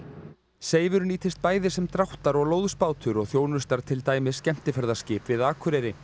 Seifur nýtist bæði sem dráttar og lóðsbátur og þjónustar til dæmis skemmtiferðaskip við Akureyri